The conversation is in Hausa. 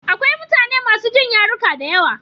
Akwai mutane masu jin yaruka da yawa.